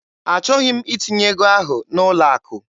Achọghị m itinye ego ahụ n'ụlọ akụ.